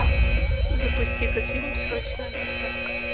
запусти ка фильм срочная доставка